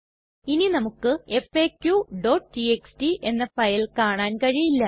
ഇനി നമുക്ക് faqടിഎക്സ്ടി എന്ന ഫയൽ കാണാൻ കഴിയില്ല